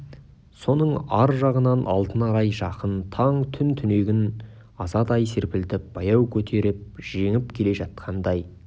соның ар жағынан алтын арай жақын таң түн түнегін азадай серпілтіп баяу көтеріп жеңіп келе жатқандай